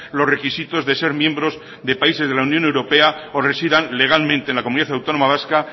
los requisitos de ser miembros de países de la unión europea o residan legalmente en la comunidad autónoma vasca